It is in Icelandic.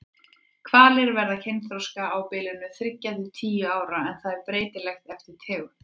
Hvalir verða kynþroska á bilinu þriggja til tíu ára en það er breytilegt eftir tegund.